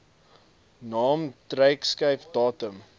naam drukskrif datum